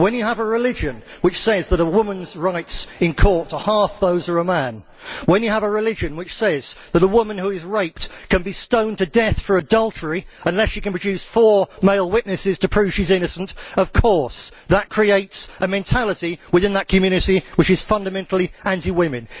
When you have a religion which says that a woman's rights in court are half those of a man, when you have a religion which says that a woman who is raped can be stoned to death for adultery unless she can produce four male witnesses to prove she is innocent, then of course that creates a mentality within that community which is fundamentally anti women.